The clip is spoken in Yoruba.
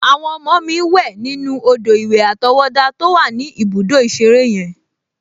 Àwọn ọmọ mi wẹ̀ nínú odò-ìwẹ̀ àtọwọ́dá to wà ní ibùdó ìṣeré yen